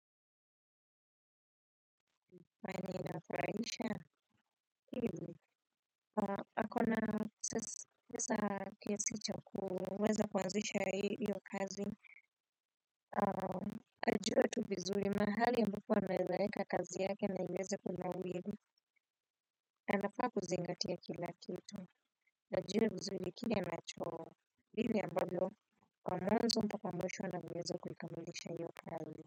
Fani inafuraisha? Hili, akona pesa kiasi cha kuweza kuanzisha iyo kazi aa ajue tu vizuri mahali ambapo anaweza weka kazi yake na iweze kunawiri, anafaa kuzingatia kila kitu. Ajue vizuri kile anacho vile ambavyo kwa mwanzo mpaka mwisho anavyoweza kuikamilisha hiyo kazi.